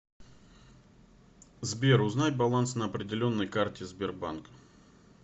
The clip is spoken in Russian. сбер узнай баланс на определенной карте сбербанк